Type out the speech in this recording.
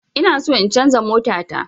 Inaso in canza mota ta